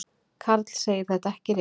Karl segir þetta ekki rétt.